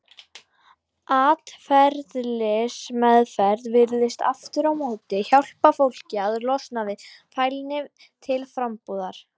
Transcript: Atferlismeðferð virðist aftur á móti hjálpa fólki að losna við fælni til frambúðar.